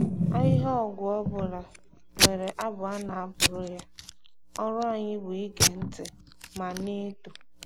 Ahịhịa ọgwụ ọbụla nwere abụ a na-abụrụ ya, ọrụ anyị bụ ige ntị ma na-eto.